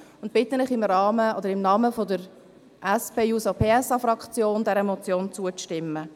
Ich bitte Sie im Namen der SPJUSO-PSA-Fraktion, dieser Motion zuzustimmen.